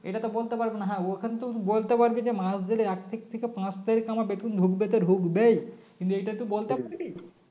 এটাতো বলতে পারবো না হ্যাঁ ওখানেও তো বলতে পারবে যে মাস গেলে এক তারিখ থেকে পাঁচ তারিখ আমার বেতন ঢুকবে তো ঢুকবেই কিন্তু এটা তুই বলতে পারবি